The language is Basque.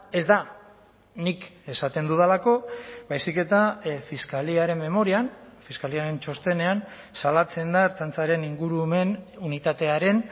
ez da nik esaten dudalako baizik eta fiskaliaren memorian fiskaliaren txostenean salatzen da ertzaintzaren ingurumen unitatearen